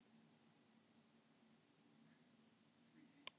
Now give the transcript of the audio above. Þá var hann sjö ára.